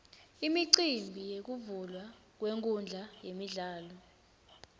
imicimbi yekuvulwa kwenkhundla yemidlalo